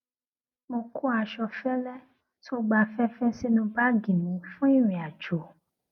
mo kó aṣọ fẹlẹ tó gba afẹfẹ sínú báàgì mi fún ìrìnàjò